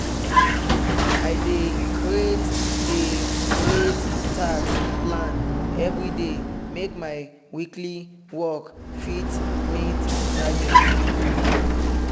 i dey create dey create task plan everyday make my weekly work fit meet target.